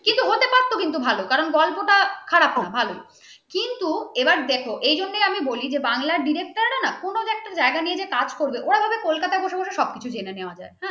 হ্যাঁ কিন্তু হতে পারতো ভালো কারণ বল গল্পটা খারাপ নয় খুব ভালো কিন্তু এবার দেখো এজন্য আমি বলি বাংলার director না কোন জায়গায় নিয়ে কাজ করবে করা হবে কলকাতায় সবকিছু জেনে নেওয়া যায় ।